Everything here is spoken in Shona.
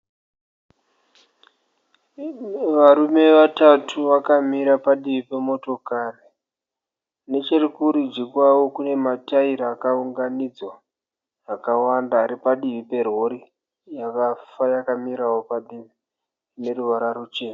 Pane varume vatatu vakamira padivi pemotokari. Nechekurudyi kwavo kune mataira akaunganidzwa akawanda ari padivi perori yakafa yakamirawo padivi ine ruvara ruchena.